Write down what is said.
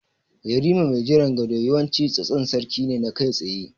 Yarima mai jiran gado yawanci tsatson sarki ne na kai tsaye.